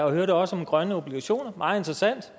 og vi hørte også om grønne obligationer meget interessant